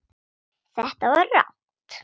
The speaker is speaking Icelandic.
Þetta var rangt.